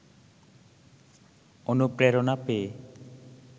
অনুপ্রেরণা পেয়ে